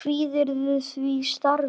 Kvíðirðu því starfi?